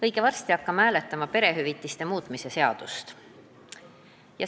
Õige varsti hakkame hääletama perehüvitiste seaduse muutmise seaduse eelnõu.